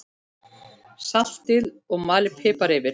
Saltið og malið pipar yfir.